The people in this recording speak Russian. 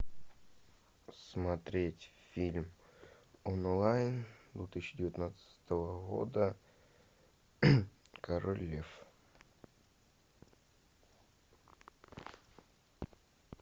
смотреть фильм онлайн две тысячи девятнадцатого года король лев